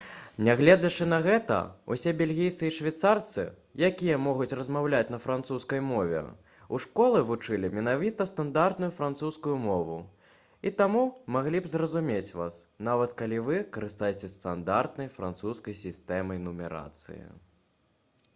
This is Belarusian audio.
нягледзячы на гэта усе бельгійцы і швейцарцы якія могуць размаўляць на французскай мове у школе вучылі менавіта стандартную французскую мову і таму маглі б зразумець вас нават калі вы карыстаецеся стандартнай французскай сістэмай нумарацыі